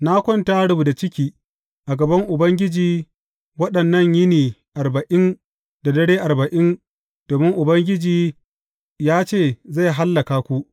Na kwanta rubda ciki a gaban Ubangiji waɗannan yini arba’in da dare arba’in domin Ubangiji ya ce zai hallaka ku.